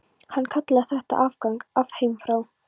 Hann kallaði þetta afgang af heimþrá.